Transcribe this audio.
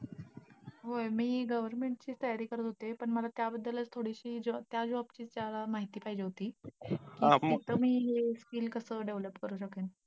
होय मी government ची तयारी करत होते. तर मला त्याबद्दलच थोडीशी अं त्या job ची माहिती पाहिजे होती. तर मी हे skill कसं develop करू शकते?